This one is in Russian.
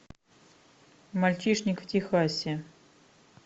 мальчишник в техасе